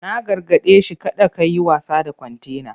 Na gargade shi 'Kada kayi wasa da kwantena!'